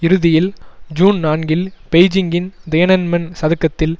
இறுதியில் ஜூன் நான்கில் பெய்ஜிங்கின் தியனன்மென் சதுக்கத்தில்